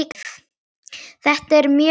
Þetta eru mjög þung spor.